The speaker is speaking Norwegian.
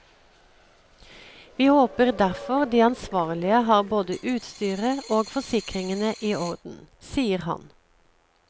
Vi håper derfor de ansvarlige har både utstyret og forsikringene i orden, sier han.